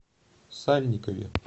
сальникове